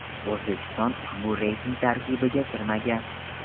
O‘zbekiston ushbu reyting tarkibiga kirmagan.